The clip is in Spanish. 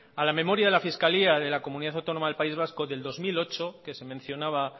a la memoria de la fiscalía de la comunidad autónoma del país vasco del dos mil ocho que se mencionaba